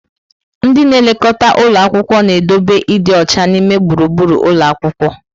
Ndị na-elekọta ụlọ akwụkwọ na-edobe ịdị ọcha n'ime gburugburu ụlọ akwụkwọ.